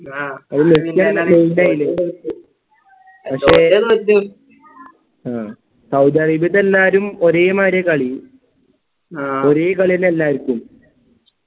Saudi അറേബ്യത്തെ എല്ലാരും ഒരേമാതിരിയാ കളി ഒരേ കളിന്ന്യാ എല്ലാർക്കും